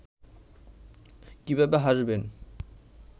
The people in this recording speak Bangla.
কিভাবে হাসবেন